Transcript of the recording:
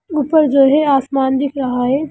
ऊपर जो है आसमान दिख रहा है।